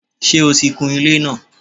Sé o ti kun ilé náà